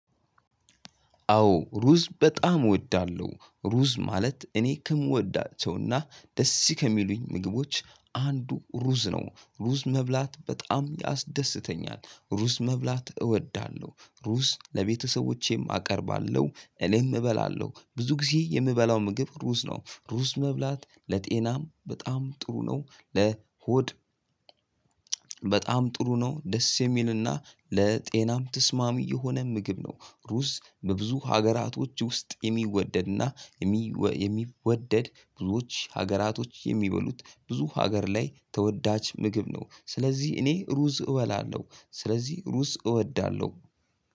አዎ ሩዝ በጣም እወዳለሁ። ሩዝ ማለት እኔ ከምወዳቸውና ደስ ከሚሉኝ ምግቦች አንዱ ሩዝ ነው። ሩዝ መብላት በጣም ያስደስተኛል። ሩዝ መብላት እወዳለሁ። ሩዝ ለቤተሰቦቼም አቀርባለሁ። እኔም እበላለሁ። ብዙ ጊዜ የምበላው ምግብ ሩዝ ነው። ሩዝ መብላት ለጤናም በጣም ጥሩ ነው። ለሆድ በጣም ጥሩ ነው። ደስ የሚልና ለጤናም ተስማሚ የሆነ ምግብ ነው። ሩዝ በብዙ ሀገራቶች ውስጥ የሚወደድና የሚወደድ ብዙዎች ሀገራቶች የሚበሉት ብዙ ሀገር ላይ ተወዳች ምግብ ነው። ስለዚህ እኔ ሩዝ እበላለሁ። ስለዚህ ሩዝ እወዳለሁ